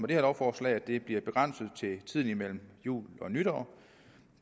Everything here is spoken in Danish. det her lovforslag at det bliver begrænset til tiden mellem jul og nytår